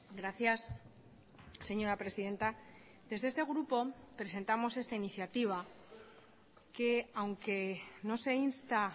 gracias señora presidenta desde este grupo presentamos esta iniciativa que aunque no se insta